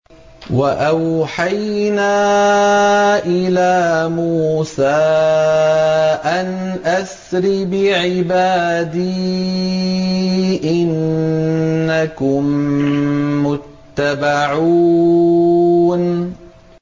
۞ وَأَوْحَيْنَا إِلَىٰ مُوسَىٰ أَنْ أَسْرِ بِعِبَادِي إِنَّكُم مُّتَّبَعُونَ